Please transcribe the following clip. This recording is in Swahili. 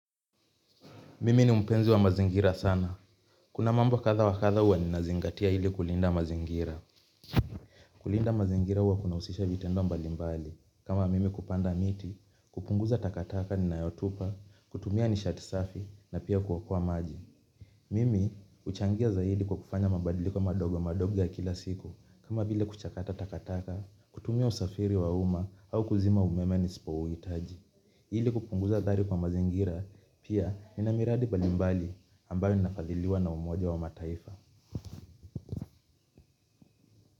Mimi ni mpenzi wa mazingira sana. Kuna mambo kadha wa kadha huwa ninazingatia ili kulinda mazingira. Kulinda mazingira huwa kunahusisha vitendo mbali mbali. Kama mimi kupanda miti, kupunguza takataka ninayotupa, kutumia nishati safi na pia kuokoa maji. Mimi huchangia zaidi kwa kufanya mabadiliko madogo madogo ya kila siku. Kama vile kuchakata takataka, kutumia usafiri wa umma au kuzima umeme nisipouitaji ili kupunguza athari kwa mazingira pia nina miradi mbalimbali ambayo ninafadhiliwa na umoja wa mataifa.